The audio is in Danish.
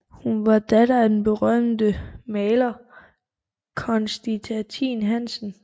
Hun var datter af den berømte maler Constantin Hansen